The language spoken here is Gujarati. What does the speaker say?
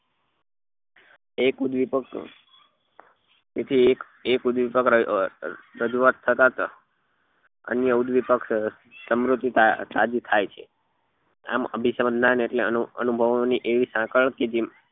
એક ઉદ્વેપ્ક એથી એક એક ઉદ્વેપ્ક રજૂઆત થતા જ અન્ય ઉદ્વેપ્ક સમુર્ધ તાજી થાય છે આમ અભિસંધાન એટલે અનુ અનુભવો ની એવી સાંકળ કે જેવી